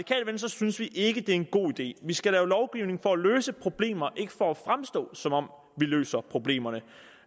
synes vi ikke det er en god idé vi skal lave lovgivning for at løse problemer ikke for at fremstå som om vi løser problemer jeg